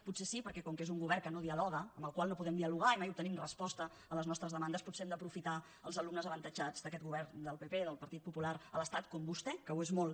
potser sí perquè com que és un govern que no dialoga amb el qual no podem dialogar i mai obtenim resposta a les nostres demandes potser hem d’aprofitar els alumnes avantatjats d’aquest govern del pp del partit popular a l’estat com vostè que ho és molt